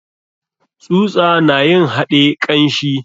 Tsusa na yin haɗe kanshi.